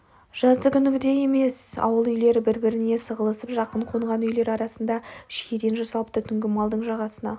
жаздыгүнгідей емес ауыл үйлері біріне-бірі сығылысып жақын қонған үйлер арасында шиеден жасалыпты түнгі малдың жағасына